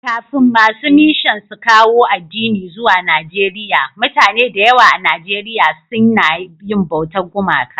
Kafin masu mishan suka kawo addini zuwa Naieriya, mutane da yawa a Nijeriya sun na yi bautar gumaka.